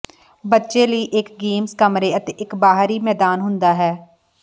ਬੱਚੇ ਲਈ ਇੱਕ ਗੇਮਜ਼ ਕਮਰੇ ਅਤੇ ਇੱਕ ਬਾਹਰੀ ਮੈਦਾਨ ਹੁੰਦਾ ਹੈ